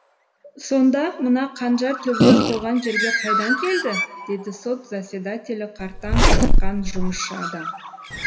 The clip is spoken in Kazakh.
сонда мына қанжар төбелес болған жерге қайдан келді деді сот заседателі қартаң тартқан жұмысшы адам